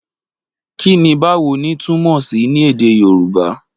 Kí ni Báwo ni? túmọ̀ sí ní Èdè Yorùbá?